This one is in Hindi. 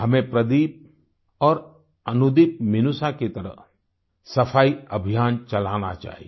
हमें प्रदीप और अनुदीपमिनूषा की तरह सफाई अभियान चलाना चाहिए